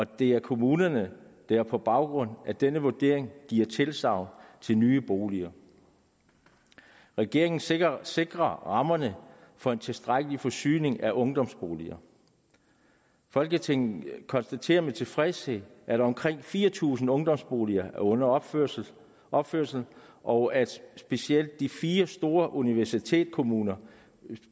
det er kommunerne der på baggrund af denne vurdering giver tilsagn til nye boliger regeringen sikrer sikrer rammerne for en tilstrækkelig forsyning af ungdomsboliger folketinget konstaterer med tilfredshed at omkring fire tusind ungdomsboliger er under opførelse opførelse og at specielt de fire store universitetskommuner